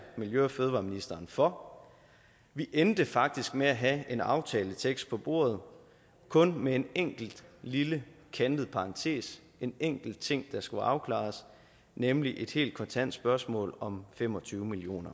miljø og fødevareministeren for vi endte faktisk med at have en aftaletekst på bordet kun med en enkelt lille kantet parentes en enkelt ting der skulle afklares nemlig et helt kontant spørgsmål om fem og tyve million